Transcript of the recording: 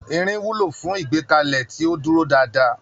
Irin wúlò fún ìgbékalẹ̀ tí ó dúró dáadáa.